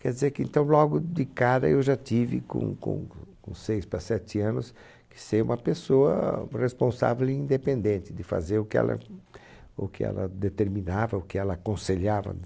Quer dizer que então logo de cara eu já tive, com com co com seis para sete anos, que ser uma pessoa responsável e independente de fazer o que ela o que ela determinava, o que ela aconselhava